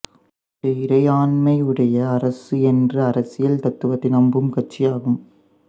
இது இறையாண்மையுடைய அரசு என்ற அரசியல் தத்துவத்தை நம்பும் கட்சியாகும்